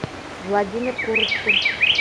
владимир курочкин